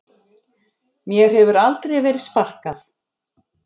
Mér hefur aldrei verið sparkað